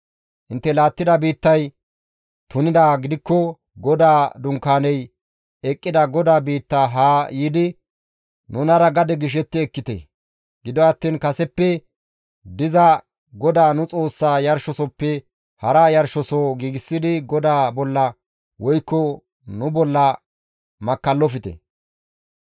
Intte laattida biittay tunidaa gidikko GODAA Dunkaaney eqqida GODAA biitta haa yiidi, nunara gade gishetti ekkite. Gido attiin kaseppe diza GODAA nu Xoossa yarshosoppe hara yarshosoho giigsidi GODAA bolla woykko nu bolla makkallofte.